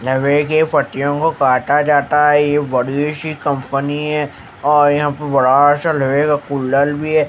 लोहे के पट्टियों को काटा जाता है ये बड़ी सी कंपनी है और यहां पे बडा सा लोहे का कुलर भी है।